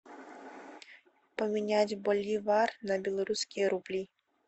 поменять боливары на белорусские рубли